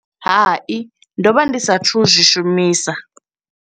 Hai ndo vha ndi sa thu zwi shumisa.